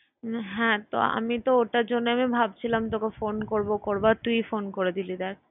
হ্যাঁ তো আমি তো ওটার জন্য আমি ভাবছিলাম তোকে phone করবো করবো আর তুই phone করে দিলি দেখ।